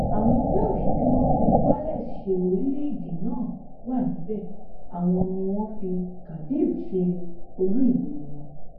àwọn welsh tí wọn fi wales ṣe orílẹèdè náà wà níbẹ àwọn ni wọn fi cardif ṣe olú ìlú wọn